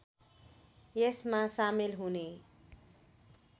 यसमा सामेल हुने